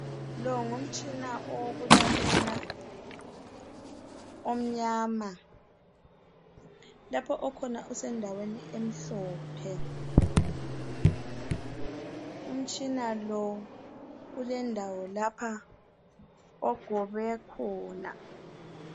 Lo ngumtshina owokulalela omnyama. Lapho okhona usendaweni emhlophe. Umtshina lo ulendawo lapha ogobe khona.